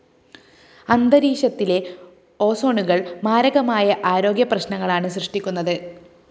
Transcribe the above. അന്തരീക്ഷത്തിലെ ഓസോണുകള്‍ മാരകമായ ആരോഗ്യപ്രശ്‌നങ്ങളാണ് സൃഷ്ടിക്കുന്നത്